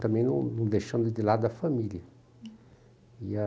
Também não não deixando de lado a família. E a